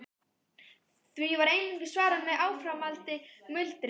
Því var einungis svarað með áframhaldandi muldri.